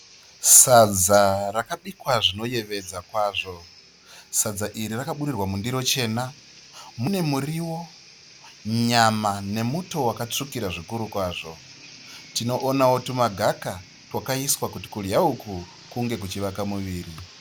Sadza rakabikwa zvinoyevedza kwazvo. Sadza iri rakaburirwa mundiro chena mune muriwo, nyama nemuto wakatsvukira zvikuru kwazvo. Tinoonawo tumagaka twakaiswa kuti kudya uku kunge kuchivaka muviri.